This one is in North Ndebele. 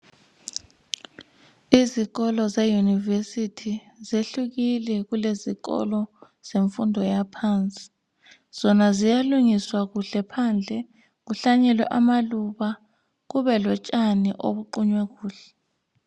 izikolo ze university zehlukile kulezikolo zemfundo yaphansi zona ziyalungiswa phandle kuhlanyelwe amaluba kube lotshani obuqunywe kuhle